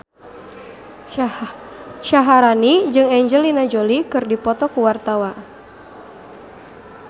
Syaharani jeung Angelina Jolie keur dipoto ku wartawan